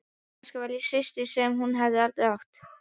Kannski var ég systirin sem hún hafði aldrei átt.